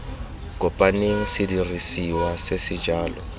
kopaneng sedirisiwa se se jalo